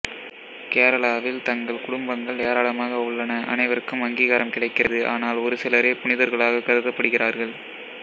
கேரளாவில் தங்ஙள் குடும்பங்கள் ஏராளமாக உள்ளன அனைவருக்கும் அங்கீகாரம் கிடைக்கிறது ஆனால் ஒரு சிலரே புனிதர்களாக கருதப்படுகிறார்கள்